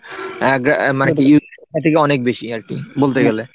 আহ মানে অনেক বেশি আর কি বলতে গেলে।